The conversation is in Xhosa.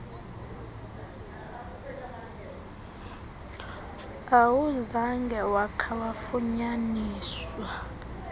awuzange wakha wafunyaniswa